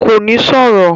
Kò ní sọ̀rọ̀?